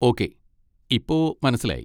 Okay, ഇപ്പൊ മനസ്സിലായി.